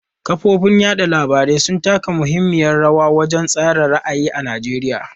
Kafofin yada labarai sun taka muhimmiyar rawa wajen tsara ra'ayi a Najeriya.